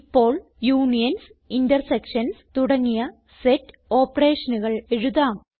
ഇപ്പോൾ unions intersections തുടങ്ങിയ set operationകൾ എഴുതാം